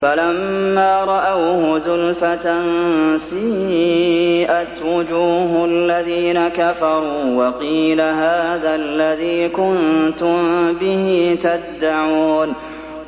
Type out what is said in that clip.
فَلَمَّا رَأَوْهُ زُلْفَةً سِيئَتْ وُجُوهُ الَّذِينَ كَفَرُوا وَقِيلَ هَٰذَا الَّذِي كُنتُم بِهِ تَدَّعُونَ